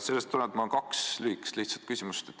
Sellest tulenevalt on mul kaks lihtsat lühikest küsimust.